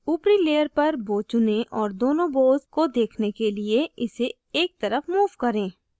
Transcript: ऊपरी layer पर bow चुनें और दोनों bows को देखने के लिए इसे एक तरफ move करें